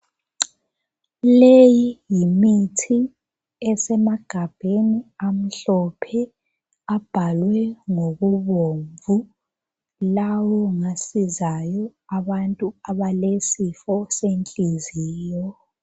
Leyi yimithi esemagabheni amhlophe abhalwe ngokubomvu lawo ngasizayo abantu abalesifo senhliziyo.